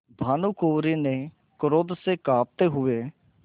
भानुकुँवरि ने क्रोध से कॉँपते हुए